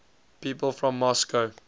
people from moscow